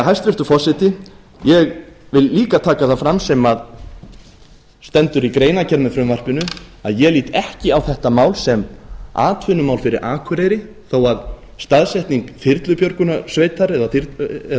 hæstvirtur forseti ég vil líka taka það fram sem stendur í greinargerð með frumvarpinu að ég lít ekki á þetta mál sem atvinnumál fyrir akureyri þó að staðsetning þyrlubjörgunarsveitar eða